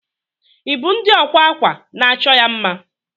Ibu ndi ọkwa akwa na achọ ya mma.